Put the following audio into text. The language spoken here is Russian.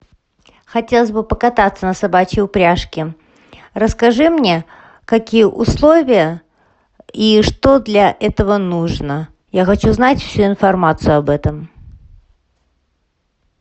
хотелось бы покататься на собачьей упряжке расскажи мне какие условия и что для этого нужно я хочу знать всю информацию об этом